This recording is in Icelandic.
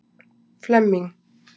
Flemming